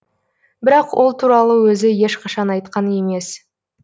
бірақ ол туралы өзі ешқашан айтқан емес